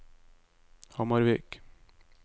Hamarvik